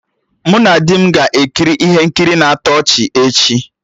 Mụ na di m ga-ekiri ihe nkiri na-atọ ọchị echi